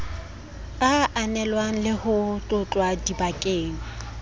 ananelwang le ho tlotlwa dibakeng